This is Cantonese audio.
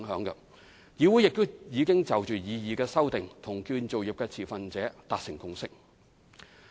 此外，議會亦已就擬議修訂與建造業持份者達成共識。